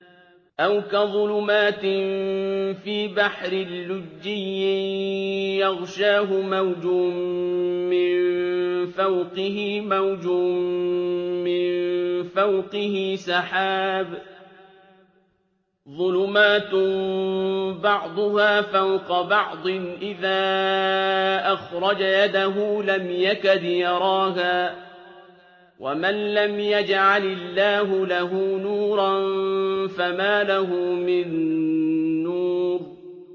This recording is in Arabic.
أَوْ كَظُلُمَاتٍ فِي بَحْرٍ لُّجِّيٍّ يَغْشَاهُ مَوْجٌ مِّن فَوْقِهِ مَوْجٌ مِّن فَوْقِهِ سَحَابٌ ۚ ظُلُمَاتٌ بَعْضُهَا فَوْقَ بَعْضٍ إِذَا أَخْرَجَ يَدَهُ لَمْ يَكَدْ يَرَاهَا ۗ وَمَن لَّمْ يَجْعَلِ اللَّهُ لَهُ نُورًا فَمَا لَهُ مِن نُّورٍ